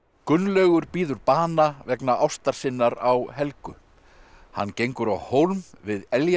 Gunnlaugur bíður bana vegna ástar sinnar á Helgu hann gengur á hólm við